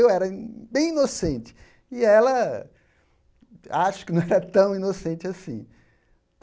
Eu era bem inocente, e ela acho que não era tão inocente assim.